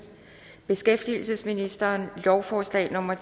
beskæftigelsesministeren lovforslag nummer